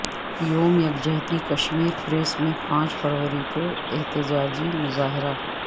یوم یکجہتی کشمیر پیرس میں پانچ فروری کو احتجاجی مظاہرہ